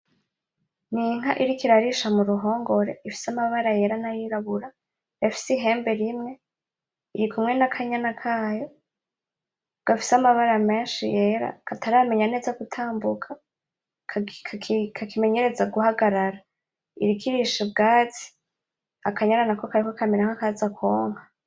N'inka iriko irarisha muruhogore ifise amabara yera na yirabura ifise ihembe rimwe, irikumwe n'akanyana kayo gafise amabara menshi yera kataramenye neza gutambuka kakimenyereza guhagarara, iriko irisha ubwatsi akanyana nako kari kamera nkakaza kwonka.